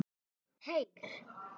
Heyr!